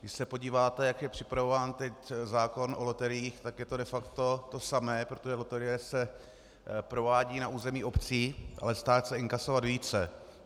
Když se podíváte, jak je připravován teď zákon o loteriích, tak je to de facto to samé, protože loterie se provádí na území obcí, ale stát chce inkasovat více.